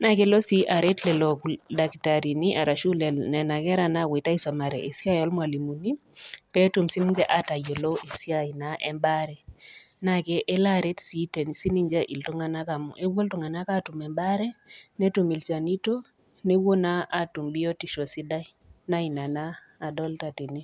naa kelo sii aret lelo daktarini ashu nena kera nawuoita aisomare esiai olmwalimuni petum sininche atayiolo esiai embaare naa kelo sii aret iltung'ana amu ewuo iltung'ana atum embaare, netum ilchanito, newuoi naa atum biotisho sidai naa ina naa adolita tene.